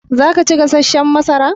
Zaka ci gasashshan masara?